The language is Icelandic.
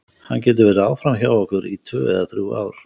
Hann getur verið áfram hjá okkur í tvö eða þrjú ár.